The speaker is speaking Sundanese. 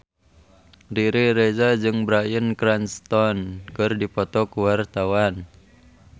Riri Reza jeung Bryan Cranston keur dipoto ku wartawan